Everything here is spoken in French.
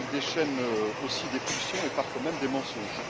Il déchaîne aussi des pulsions, et parfois même des mensonges.